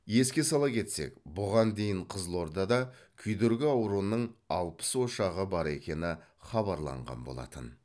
еске сала кетсек бұған дейін қызылордада күйдіргі ауруының алпыс ошағы бар екені хабарланған болатын